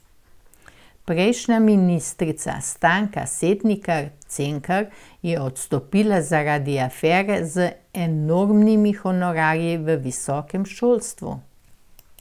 Prejšnja ministrica Stanka Setnikar Cenkar je odstopila zaradi afere z enormnimi honorarji v visokem šolstvu.